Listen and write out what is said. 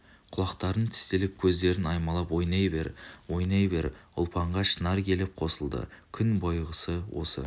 құлақтарын тістелеп көздерін аймалап ойнай бер ойнай бер ұлпанға шынар келіп қосылды күн бойғысы осы